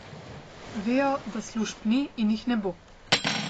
Vejo, da služb ni in jih ne bo.